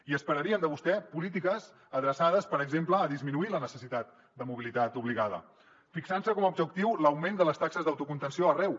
i esperaríem de vostè polítiques adreçades per exemple a disminuir la necessitat de mobilitat obligada fixant se com a objectiu l’augment de les taxes d’autocontenció arreu